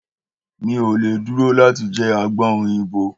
Mi ò le dúró láti jẹ àgbọn òyìnbó.